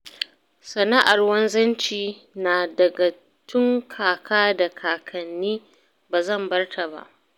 Sana'ar wanzanci na gada tun kaka da kakanni ba zan bar ta ba